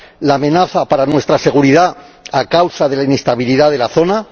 la amenaza para nuestra seguridad a causa de la inestabilidad de la zona